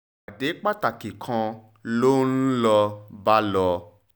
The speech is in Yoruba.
ìpàdé pàtàkì kan ló ń ló ń bá lò